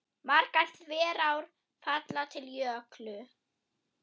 Margar þverár falla til Jöklu.